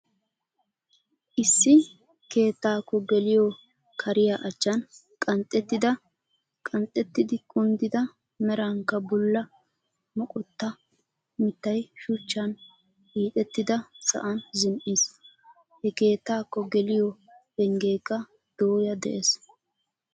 Issi keettaakko geliyoo kariyaa achchan qanxxettidi kunddida merankka bulla moqqottaa mittay shuchchan hiixxettida sa"an zin"iis. he keettaakko geliyoo penggeekka dooya dees.